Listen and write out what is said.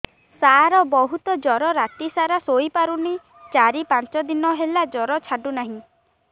ସାର ବହୁତ ଜର ରାତି ସାରା ଶୋଇପାରୁନି ଚାରି ପାଞ୍ଚ ଦିନ ହେଲା ଜର ଛାଡ଼ୁ ନାହିଁ